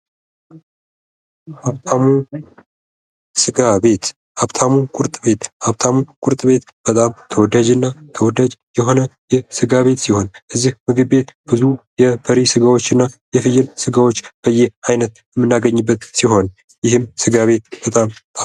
ሀብታሙ ስጋ ቤት ወይም ሀብታሙ ቁርጥ ቤት ሀብታሙ ቁርጥ ቤት ተወዳጅና ተወዳጅ የሆነ የስጋቤት ሲሆን ይህ ቤት የበሬ ስጋዎች እና የፍየል ስጋዎች በያይነት የምናገኝበት ሲሆን ስጋ ቤቱ በጣም ተወዳጅ ነው።